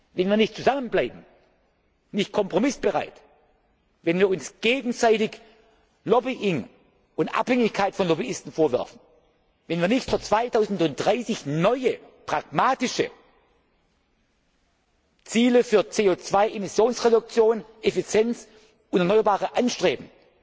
Wenn wir nicht zusammenbleiben, nicht kompromissbereit sind, wenn wir uns gegenseitig Lobbying und Abhängigkeit von Lobbyisten vorwerfen, wenn wir nicht für 2030 neue pragmatische Ziele für CO 2 Emissionsreduktionen, Effizienz und erneuerbare Energien anstreben,